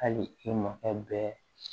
Hali i makɛ bɛɛ